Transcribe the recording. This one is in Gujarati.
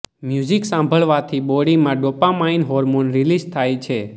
મ્યુઝિક સાંભળવાથી બોડીમાં ડોપામાઇન હોર્મોન રિલીઝ થાય છે